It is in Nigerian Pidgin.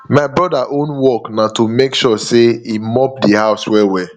my broda own work na to mek sure say him mop the house well well